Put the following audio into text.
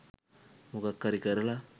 මොකක් හරි කරලා